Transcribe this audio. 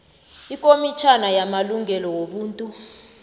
ikomitjhana yamalungelo wobuntu